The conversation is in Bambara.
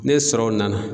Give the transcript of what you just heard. Ne sɔrɔ nana